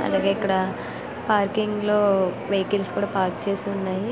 state Bank of India India ఇక్కడ parking లో vehicles కూడా పార్క్ చేసి ఉన్నాయి